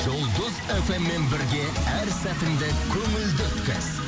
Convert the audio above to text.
жұлдыз эф эм мен бірге әр сәтіңді көңілді өткіз